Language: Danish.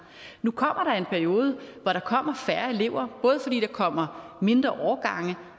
nu kommer der en periode hvor der kommer færre elever både fordi der kommer mindre årgange